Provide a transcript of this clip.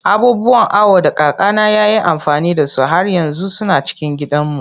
Abubuwan awo da kakana ya yi amfani da su har yanzu suna cikin gidanmu.